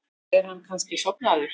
Er hann kannski sofnaður?